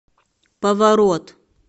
поворот